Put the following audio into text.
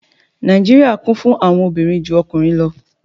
Nijíríría Kún fún àwọn òbirin ju ọkunrin lọ